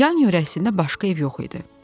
Yan yörəsində başqa ev yox idi.